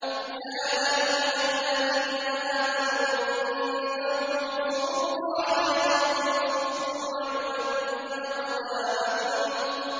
يَا أَيُّهَا الَّذِينَ آمَنُوا إِن تَنصُرُوا اللَّهَ يَنصُرْكُمْ وَيُثَبِّتْ أَقْدَامَكُمْ